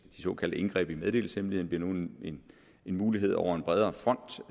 såkaldte indgreb i meddelelseshemmeligheden bliver nu en mulighed over en bredere front